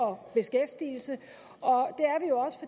og beskæftigelse og